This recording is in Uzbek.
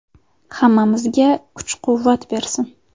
Hammamizga kuch-quvvat bersin!